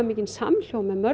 mikinn samhljóm með